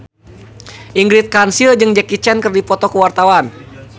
Ingrid Kansil jeung Jackie Chan keur dipoto ku wartawan